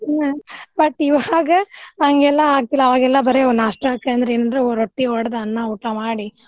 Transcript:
ಹ್ಮ್ but ಇವಾಗ ಹಂಗೆಲ್ಲಾ ಆಗ್ತಿಲ್ಲಾ ಅವಾಗೆಲ್ಲಾ ಬರೆ ನಾಷ್ಟಾಕ ಅಂದ್ರ ಏನ್ರ ರೊಟ್ಟಿ ಹೊಡದ್ ಅನ್ನ ಊಟಾ ಮಾಡಿ.